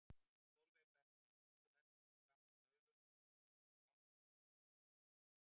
Sólveig Bergmann: Þú heldur því fram að Baugur hafi einhvers konar áhrif á breska fjölmiðla?